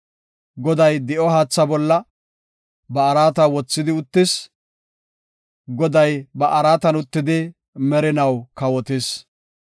Goday di7o haatha bolla ba araata wothidi uttis; Goday ba araatan uttidi merinaw kawotis.